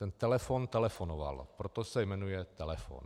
Ten telefon telefonoval, proto se jmenuje telefon.